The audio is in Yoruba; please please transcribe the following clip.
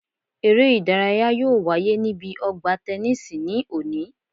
Eré ìdárayá yóò wáyé níbi ọgbà tẹnísì ní òní